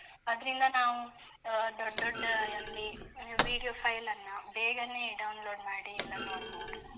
ಅದ್ರಿಂದ ನಾವು ಆ ದೊಡ್ ದೊಡ್ಡ MB video file ನ್ನ, ಬೇಗನೇ download ಮಾಡಿ ಎಲ್ಲ ನೋಡ್ಬೋದು.